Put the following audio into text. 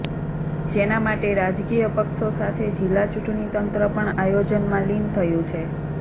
જેના માટે રાજકીય પક્ષો સાથે જિલ્લા ચૂંટણી તંત્ર પણ આયોજનમાં લીન થયું છે